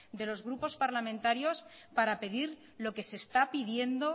de los grupos parlamentarios para pedir lo que se está pidiendo